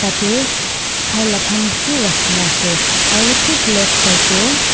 Tate khai la khan beshe rakhe kena ase aro thik left side tey.